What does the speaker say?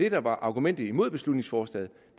argumentet mod beslutningsforslaget